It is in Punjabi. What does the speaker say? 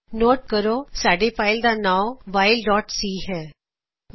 ਨੋਟ ਕਰੇ ਸਾਡੀ ਫਾਇਲ ਦਾ ਨਾਂਉ ਵਾਇਲ ਡਾਟ ਸੀ whileਸੀਹੈ